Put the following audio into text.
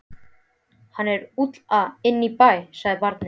Hann er lúlla inn í bæ, sagði barnið.